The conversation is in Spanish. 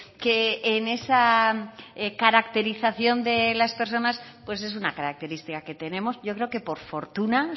que en esa caracterización de las personas pues es una característica que tenemos yo creo que por fortuna